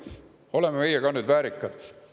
Oleme meie ka nüüd väärikad.